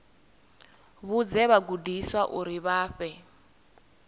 vhudze vhagudiswa uri vha fhe